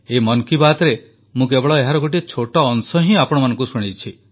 ଏଇ ମନ କି ବାତ୍ରେ ମୁଁ କେବଳ ଏହାର ଗୋଟିଏ ଛୋଟ ଅଂଶ ହିଁ ଆପଣମାନଙ୍କୁ ଶୁଣାଇଛି